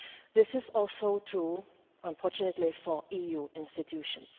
This also true unfortunately for EU institutions.